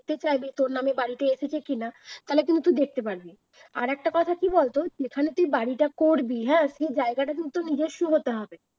দেখতে চাইবি, তোর নামে বাড়িটা এসেছে কিনা? তাহলে কিন্তু দেখতে পাবি। আরেকটা কথা কি বলতো যেখানে তুই বাড়িটা করবি হ্যাঁ সেই জায়গাটা কিন্তু নিজস্ব হতে হবে